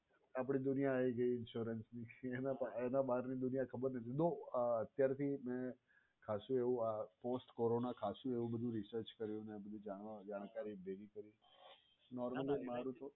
આપડી દુનિયા આઈ ગઈ ઇન્સ્યોરન્સની. એના બહાર ની દુનિયા ની ખબર જ નથી though અત્યારથી મે ખાસું એવું આ corona ખાસું એવું બધુ research કર્યું અને આ બધુ જાણકારી ભેગી કરી normally મારુ તો